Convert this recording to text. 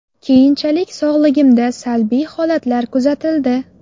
Keyinchalik sog‘ligimda salbiy holatlar kuzatildi.